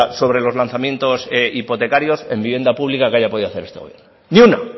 sobre los lanzamientos hipotecarios en vivienda pública que haya podido hacer este gobierno ni